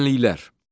Düzənliklər.